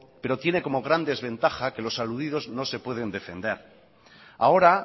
pero tiene como gran desventaja que los aludidos no se pueden defender ahora